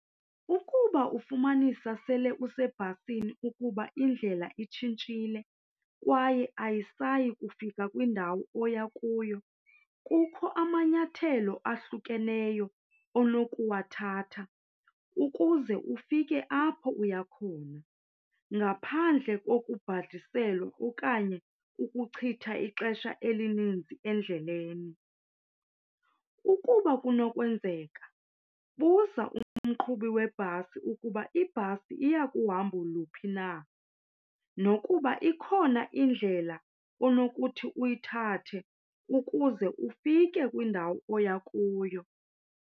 Ukuba ufumanisa sele usebhasini ukuba indlela itshintshile kwaye ayisayi kufika kwindawo oya kuyo kukho amanyathelo ahlukeneyo onokuwathatha ukuze ufike apho uya khona ngaphandle kokubhadiselwa okanye ukuchitha ixesha elininzi endleleni. Ukuba kunokwenzeka buza umqhubi webhasi ukuba ibhasi iya kuhambo luphi na nokuba ikhona indlela onokuthi uyithathe ukuze ufike kwindawo oya kuyo.